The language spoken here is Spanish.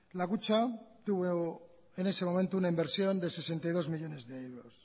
la kutxa tuvo en ese momento una inversión de sesenta y dos millónes de euros